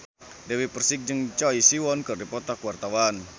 Dewi Persik jeung Choi Siwon keur dipoto ku wartawan